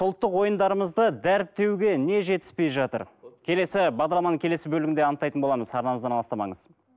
ұлттық ойындарымызды дәріптеуге не жетіспей жатыр келесі бағдарламаның келесі бөлігінде анықтайтын боламыз арнамыздан алыстамаңыз